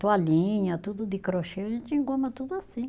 Toalhinha, tudo de crochê, a gente engoma tudo assim.